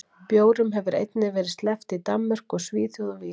Bjórum hefur einnig verið sleppt í Danmörku og Svíþjóð og víðar.